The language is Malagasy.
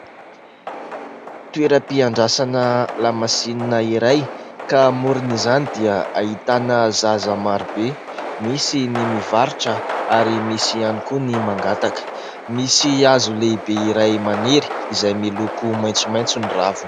Toera-piandrasana lamasinina iray ka eo amoron'izany dia ahitana zaza maro be, misy mivarotra ary misy ihany koa ny mangataka. Misy hazo lehibe iray maniry izay miloko maitsomaitso ny raviny.